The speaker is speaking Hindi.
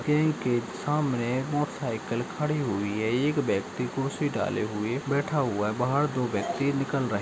बैंक के सामने मोटर साइकिल खड़ी हुई है एक व्यक्ति कुर्सी डाले हुए बैठा हुआ है बाहर दो व्यक्ति निकाल रहे --